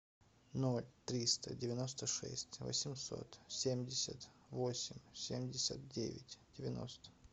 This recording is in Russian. ноль триста девяносто шесть восемьсот семьдесят восемь семьдесят девять девяносто